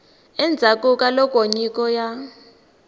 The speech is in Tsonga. endzhaku ka loko nyiko ya